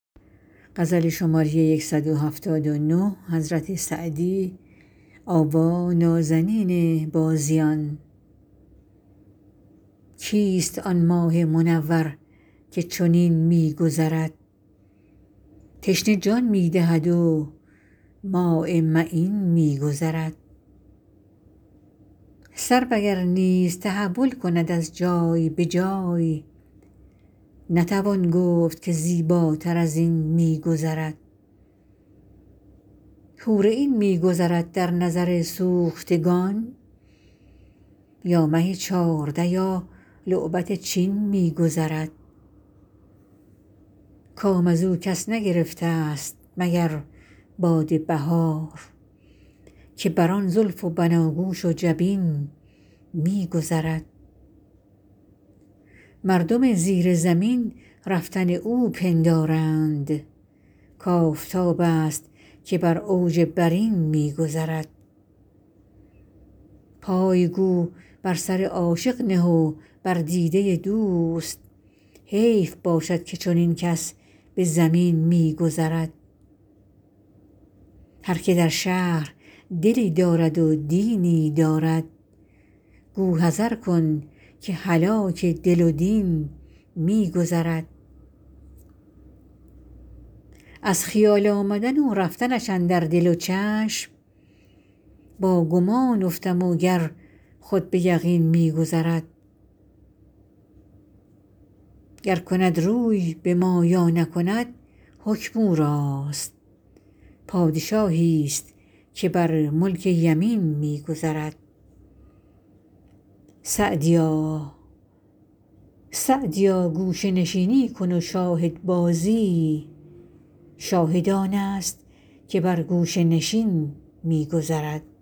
کیست آن ماه منور که چنین می گذرد تشنه جان می دهد و ماء معین می گذرد سرو اگر نیز تحول کند از جای به جای نتوان گفت که زیباتر از این می گذرد حور عین می گذرد در نظر سوختگان یا مه چارده یا لعبت چین می گذرد کام از او کس نگرفتست مگر باد بهار که بر آن زلف و بناگوش و جبین می گذرد مردم زیر زمین رفتن او پندارند کآفتابست که بر اوج برین می گذرد پای گو بر سر عاشق نه و بر دیده دوست حیف باشد که چنین کس به زمین می گذرد هر که در شهر دلی دارد و دینی دارد گو حذر کن که هلاک دل و دین می گذرد از خیال آمدن و رفتنش اندر دل و چشم با گمان افتم و گر خود به یقین می گذرد گر کند روی به ما یا نکند حکم او راست پادشاهیست که بر ملک یمین می گذرد سعدیا گوشه نشینی کن و شاهدبازی شاهد آنست که بر گوشه نشین می گذرد